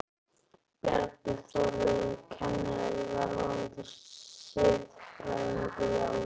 Bjarni Þórður er kennari og verðandi siðfræðingur, í alvöru?